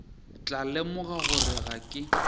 tla lemoga gore ga ke